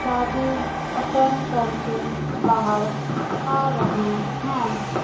शादी अटेंड करके बाहर आ रहे हैं।